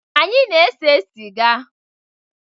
Anyị na-ese sịga